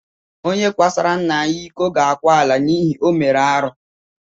Onye kwasoro nna ya ịkọ ga akwa ala n'ihi na o mere arụ.